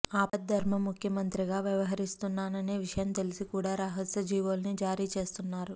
ఆపద్ధర్మ ముఖ్యమంత్రిగా వ్యవహరిస్తున్నాననే విషయం తెలిసి కూడా రహస్య జీవోల్ని జారీచేస్తున్నారు